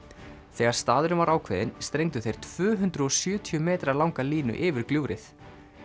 þegar staðurinn var ákveðinn strengdu þeir tvö hundruð og sjötíu metra langa línu yfir gljúfrið